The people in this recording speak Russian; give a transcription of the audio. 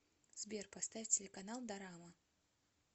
сбер поставь телеканал дорама